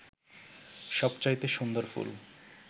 সবচাইতে সুন্দর ফুল